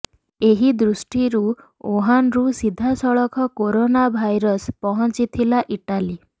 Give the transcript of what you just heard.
ଏହି ଦୃଷ୍ଟିରୁ ଉହାନରୁ ସିଧାସଳଖ କୋରୋନା ଭାଇରସ୍ ପହଞ୍ଚିଥିଲା ଇଟାଲୀ